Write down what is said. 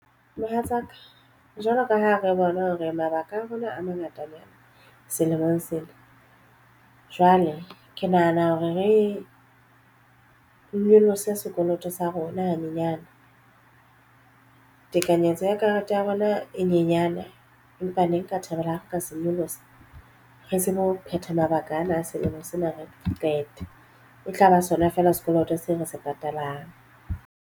Mohatsaka jwalo ka ha re bona hore mabaka a rona a mangatanyana selemong sena jwale ke nahana hore re nyolose sekoloto sa rona hanyenyana. Tekanyetso ya karete ya rona e nyenyane empa ne nka thabela ka se nyolosa. Re tsebe ho phetha mabaka ana a selemong sena re qete e tlaba sona fela sekoloto seo re se patalang.